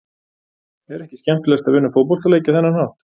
Er ekki skemmtilegast að vinna fótboltaleiki á þennan hátt?